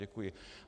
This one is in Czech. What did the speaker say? Děkuji.